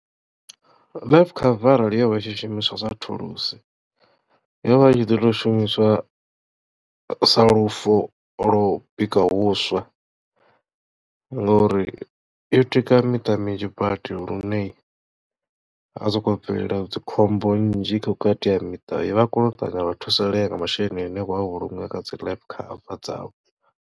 Life cover arali yo vha i tshishumiswa sa thulusi yo vha i tshi ḓo tou shumiswa sa lufo lwo bika vhuswa ngori yo tika miṱa minzhi badi lune ha sokou bvelela dzikhombo nnzhi vhukati ha miṱa vha kona u ṱavhanya vha thusalea nga masheleni ane vho a vhulunga kha dzi life cover dzavho.